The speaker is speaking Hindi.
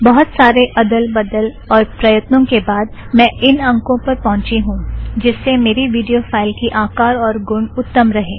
बहुत सारे अदल बदल और प्रयत्नों के बाद मैं इन अंकों पर पहुंची हूँ जिस से मेरी विड़ियो फ़ाइल की आकार और गुण उत्तम रहे